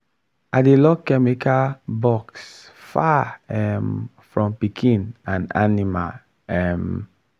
i dey lock chemical box far um from pikin and animal um